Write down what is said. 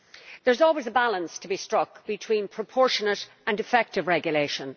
There is always a balance to be struck between proportionate and effective regulation.